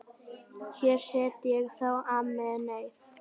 Hér set ég þá Amenið.